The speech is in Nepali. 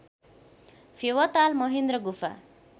फेवाताल महेन्द्र गुफा